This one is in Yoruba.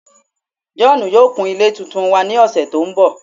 John yoo kun ile tuntun wa ni ọsẹ to nbọ